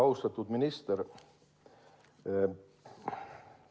Austatud minister!